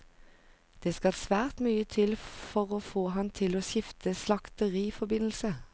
Det skal svært mye til for å få han til å skifte slakteriforbindelse.